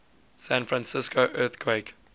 san francisco earthquake